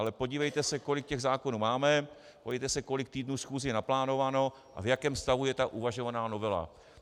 Ale podívejte se, kolik těch zákonů máme, podívejte se, kolik týdnů schůzí je naplánováno a v jakém stavu je ta uvažovaná novela.